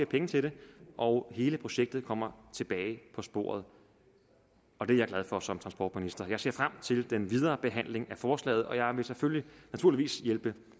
penge til det og hele projektet kommer tilbage på sporet og det er jeg glad for som transportminister jeg ser frem til den videre behandling af forslaget og jeg vil naturligvis hjælpe